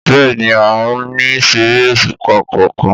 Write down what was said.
Bẹ́ẹ̀ni, a ò ní ṣeré òṣùpá kankan